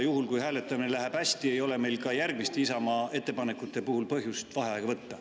Juhul, kui hääletamine läheb hästi, ei ole meil ka järgmiste Isamaa ettepanekute puhul põhjust vaheaega võtta.